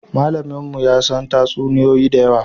Malaminmu ya san tatsuniyoyi da yawa